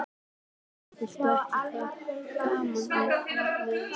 Já, viltu ekki ganga í félagið með okkur?